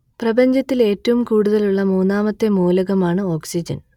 പ്രപഞ്ചത്തിൽ ഏറ്റവും കൂടുതലുള്ള മൂന്നാമത്തെ മൂലകമാണ് ഓക്സിജൻ